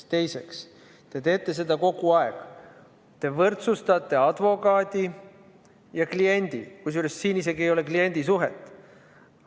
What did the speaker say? Ja teiseks, te teete seda kogu aeg, te võrdsustate advokaadi ja kliendi, kusjuures siin ei ole isegi kliendisuhet.